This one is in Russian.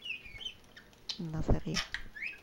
на заре